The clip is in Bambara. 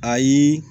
Ayi